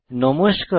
নমস্কার